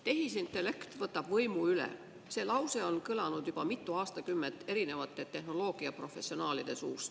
Tehisintellekt võtab võimu üle – see lause on juba mitu aastakümmet kõlanud erinevate tehnoloogiaprofessionaalide suust.